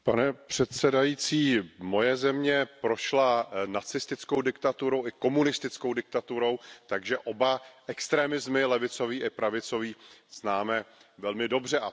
Pane předsedající, moje země prošla nacistickou diktaturou i komunistickou diktaturou, takže oba extremismy, levicový i pravicový, známe velmi dobře.